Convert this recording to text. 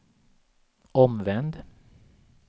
omvänd